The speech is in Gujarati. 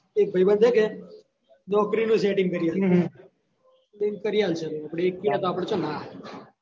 એ ધીરો છે કે નોકરી નું setting કરી એવું કરી આલ્સે